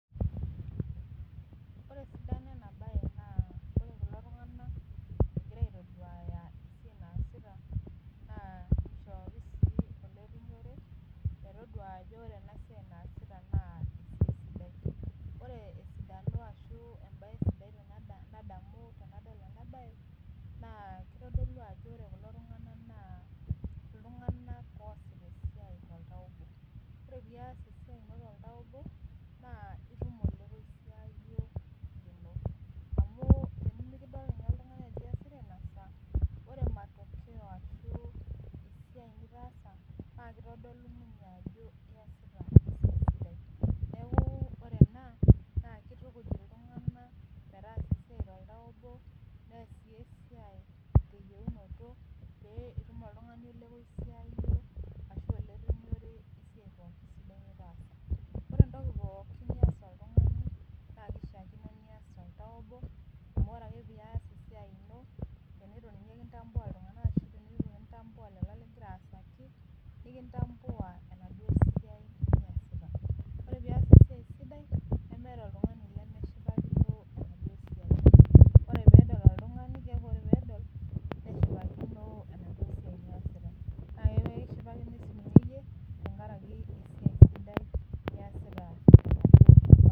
ore esidano ena baye naa ore kulo tung'anak naa egira aitoduaya esiai ajo kisidai nishooki sii ole rinyore metodua enasiai ajo naakisidai, naa kitodolu ajo keesita kulo tung'anak esiai toltau obo, neeku ore ena kitukuj iltung'anak pee ees esiai toltau obo , nees sii esiai teyeunoto amu tenetu ninye kindambua iltung'anak nikindambua esiai niyasita , ore pee iyas esiai sidai niyasita.